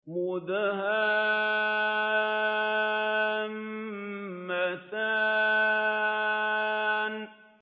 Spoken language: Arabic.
مُدْهَامَّتَانِ